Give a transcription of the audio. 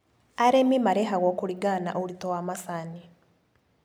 Arĩmi marĩhagũo kũringana na ũritũ wa macani.